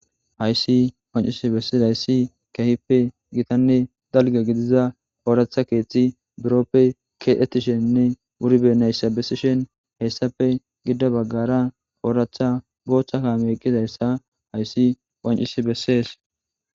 hayssi wancisi bessees hayssi kehippe gitanne dalga gidiza ooratha keeththi biroppe keedhetisheninne wuribenayssa bessishen hessafe gida baggara ooratha boothcha ka meqqizayssa hayssi wancis bessees